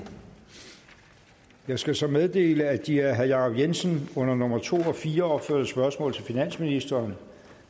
jeg skal så meddele at de af herre jacob jensen under nummer to og fire opførte spørgsmål til finansministeren